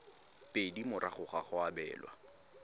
pedi morago ga go abelwa